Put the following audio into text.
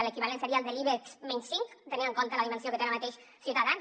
l’equivalent seria el de l’ibex menys cinc tenint en compte la dimensió que té ara mateix ciutadans